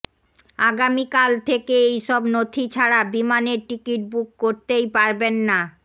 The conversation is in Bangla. আগামিকাল থেকে এইসব নথি ছাড়া বিমানের টিকিট বুক করতেই পারবেন না